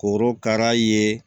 Korokara ye